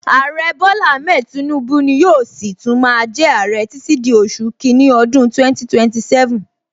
Aare Bola Ahmed Tinubu ni yóò si tún máa jẹ aare títí di oṣù kini ọdún 2027